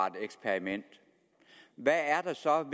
et eksperiment hvad er der så af